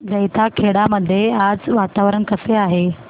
जैताखेडा मध्ये आज वातावरण कसे आहे